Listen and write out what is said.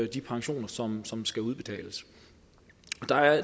de pensioner som som skal udbetales